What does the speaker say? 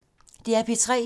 DR P3